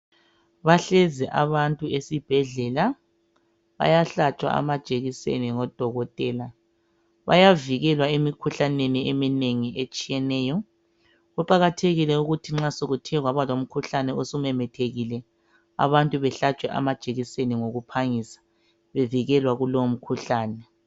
Bahlezi abantu esibhedlela bayahlatshwa amajekiseni ngodokotela, bayavikelwa emikhuhlaneni eminengi etshiyeneyo. Kuqakathekile ukuthi nxa sokuthe kwaba lomkhuhlane osumemethekile, abantu behlatshwe amajekiseni ngokuphangisa, bevikelwe kulowo mkhuhlane.